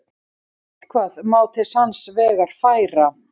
Eitthvað má til sanns vegar færa